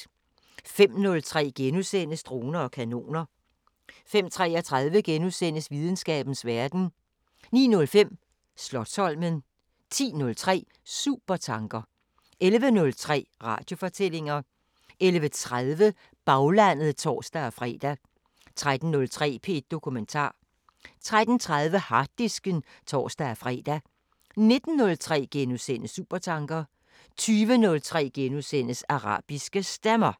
05:03: Droner og kanoner * 05:33: Videnskabens Verden * 09:05: Slotsholmen 10:03: Supertanker 11:03: Radiofortællinger 11:30: Baglandet (tor-fre) 13:03: P1 Dokumentar 13:30: Harddisken (tor-fre) 19:03: Supertanker * 20:03: Arabiske Stemmer *